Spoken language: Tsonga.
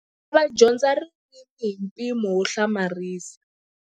Vana va dyondza ririmi hi mpimo wo hlamarisa.